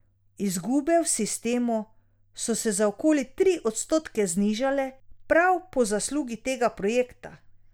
Izgube v sistemu so se za okoli tri odstotke znižale prav po zaslugi tega projekta.